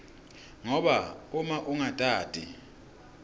ngoba uma ungatati